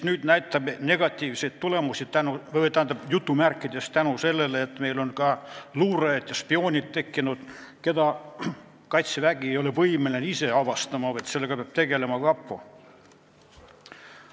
Nüüd me näeme selle negatiivseid tulemusi: "tänu" sellele on meil tekkinud luurajad ja spioonid, keda Kaitsevägi ei ole võimeline ise avastama, vaid sellega peab tegelema kapo.